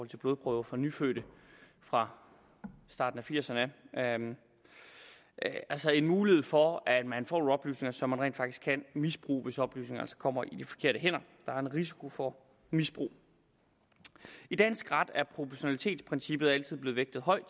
til blodprøver fra nyfødte fra starten af firserne altså en mulighed for at man får nogle oplysninger som man rent faktisk kan misbruge hvis oplysningerne kommer i de forkerte hænder der er en risiko for misbrug i dansk ret er proportionalitetsprincippet altid blevet vægtet højt